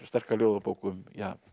sterka ljóðabók um